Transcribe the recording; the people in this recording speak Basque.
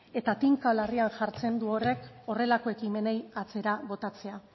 eta tinka larrian jartzen du horrek horrelako ekimenei atzera botatzea